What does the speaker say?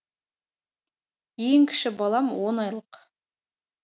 ең кіші балам он айлық